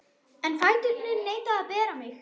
En fæturnir neita að bera mig.